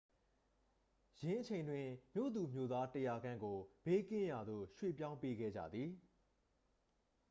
ယင်းအချိန်တွင် မြို့သူမြို့သား 100 ခန့်ကို ဘေးကင်းရာသို့ ရွှေ့ပြောင်းပေးခဲ့ကြသည်